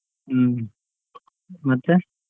ಹ್ಮ್, ಮತ್ತೆ.